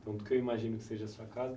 Tanto que eu imagino que seja a sua casa.